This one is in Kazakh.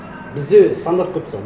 бізде стандарт қойып тастаған